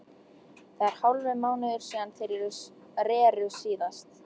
Það er hálfur mánuður síðan þeir reru síðast.